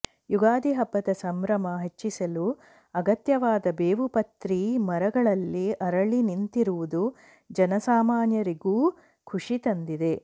ಯುಗಾದಿ ಹಬ್ಬದ ಸಂಭ್ರಮ ಹೆಚ್ಚಿಸಲು ಅಗತ್ಯವಾದ ಬೇವು ಪ್ರತಿ ಮರಗಳಲ್ಲಿ ಅರಳಿ ನಿಂತಿರುವುದು ಜನಸಾಮಾನ್ಯರಿಗೂ ಖುಷಿ ತಂದಿದೆ